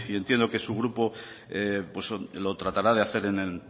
entiendo que su grupo lo tratará de hacer en